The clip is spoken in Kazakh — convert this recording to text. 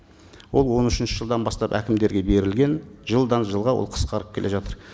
ол он үшінші жылдан бастап әкімдерге берілген жылдан жылға ол қысқарып келе жатыр